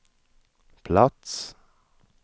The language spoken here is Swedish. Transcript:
plats